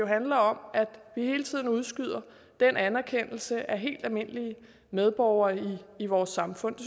handler om at vi hele tiden udskyder den anerkendelse af helt almindelige medborgere i vores samfund